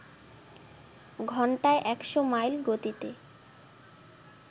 ঘণ্টায় একশ মাইল গতিতে